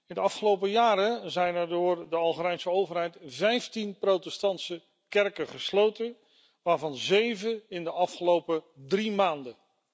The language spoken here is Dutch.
In de afgelopen jaren zijn er door de Algerijnse overheid vijftien protestantse kerken gesloten, waarvan zeven in de afgelopen drie maanden.